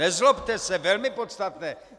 Nezlobte se, velmi podstatné.